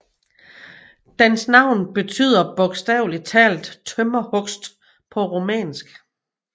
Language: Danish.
Dens navn betyder bogstaveligt talt tømmerhugst på rumænsk